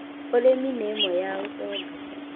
Ũrĩmi nĩ ĩmwe ya ũtonga